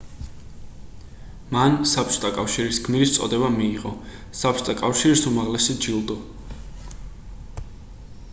მან საბჭოთა კავშირის გმირის წოდება მიიღო საბჭოთა კავშირის უმაღლესი ჯილდო